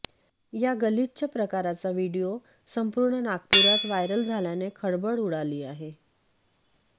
या गलिच्छ प्रकाराचा व्हिडीओ संपूर्ण नागपुरात व्हायरल झाल्याने खळबळ उडाली आहे